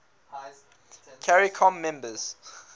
caricom members